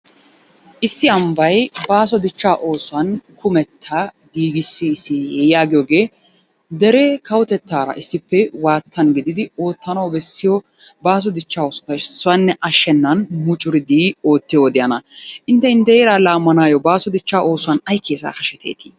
Issi ambbay baaso dichchaa oosuwan kumetta giigissis yaagiyooge deree kawotettaara issippe waattan gididi oottanawu bessiyo baaso dichchaa oosuwaappe issoyinne attennan mucuridi oottiyo wodiyana. Intte intte heeraa laammanaayoo baaso dichchaa oosuwan ayi keesaa hasheteeti?